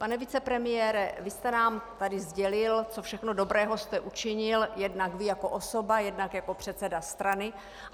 Pane vicepremiére, vy jste nám tady sdělil, co všechno dobrého jste učinil, jednak vy jako osoba, jednak jako předseda strany.